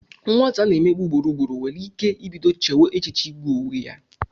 Nwata a na-emegbu ugboro ugboro nwere ike ibido chewe echiche igbu onwe ya.